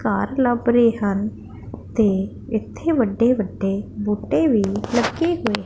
ਤਾਰ ਲੱਭ ਰਹੇ ਹਨ ਤੇ ਇੱਥੇ ਵੱਡੇ ਵੱਡੇ ਬੂਟੇ ਵੀ ਲੱਗੇ ਹੋਏ।